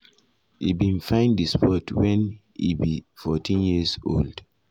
e bin find di sport wen e be 14 years old wen